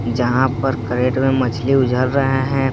जहां पर कैरेट में मछली उझल रहे हैं।